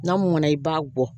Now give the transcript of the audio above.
N'a mɔnna i b'a bɔ